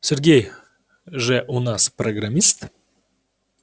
сергей же у нас программист